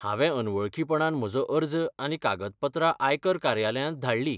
हांवें अनवळखीपणान म्हजो अर्ज आनी कागदपत्रां आयकर कार्यालयांत धाडलीं.